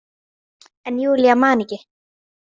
En Júlía man ekki.